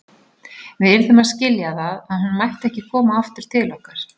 Við yrðum að skilja það að hún mætti ekki koma aftur til okkar.